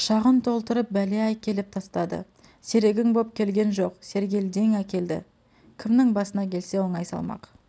құшағын толтырып бәле әкеліп тастады серігің боп келген жоқ сергелдең әкелді кімнің басына келсе оңай салмақ